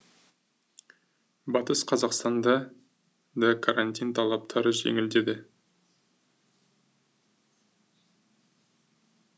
батыс қазақстанда да карантин талаптары жеңілдеді